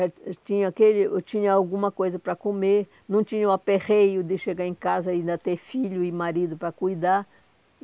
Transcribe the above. tinha aquele. Eu tinha alguma coisa para comer, não tinha o aperreio de chegar em casa e ainda ter filho e marido para cuidar.